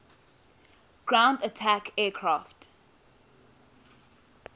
ground attack aircraft